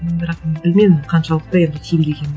м бірақ білмедім қаншалықты енді тиімді екенін